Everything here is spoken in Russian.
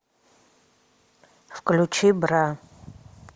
включи бра